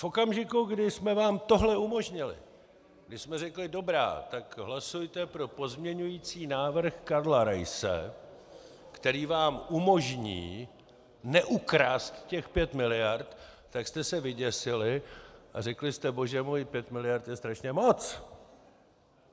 V okamžiku, kdy jsme vám tohle umožnili, když jsme řekli dobrá, tak hlasujte pro pozměňovací návrh Karla Raise, který vám umožní neukrást těch pět miliard, tak jste se vyděsili a řekli jste bože můj, pět miliard je strašně moc!